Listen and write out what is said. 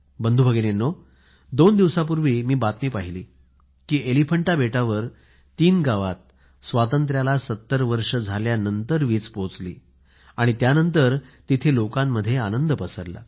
बंधूभगिनीनो दोन दिवसापूर्वी मी बातमी पहिली की एलिफंटा बेटावर तीन गावात स्वातंत्र्याला 70 वर्षे झाल्यानंतर वीज पोहोचली त्यानंतर तिथे लोकामध्ये आनंद पसरला